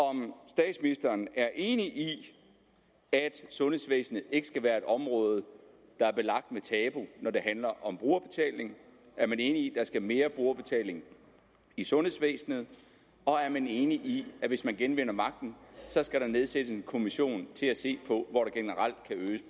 om statsministeren er enig i at sundhedsvæsenet ikke skal være et område der er belagt med tabu når det handler om brugerbetaling er man enig i skal mere brugerbetaling i sundhedsvæsenet og er man enig i at hvis man genvinder magten skal der nedsættes en kommission til at se på